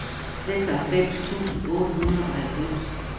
seksoghalvfems tusind otte hundrede og halvfems